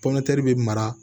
Pɔmpɛri bɛ mara